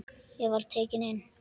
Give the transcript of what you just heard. Ég var tekinn inn.